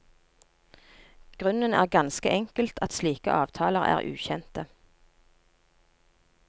Grunnen er ganske enkelt at slike avtaler er ukjente.